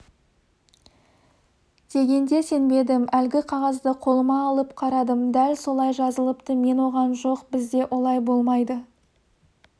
дегенде сенбедім әлгі қағазды қолыма алып қарадым дәл солай жазылыпты мен оған жоқ бізде олай болмайды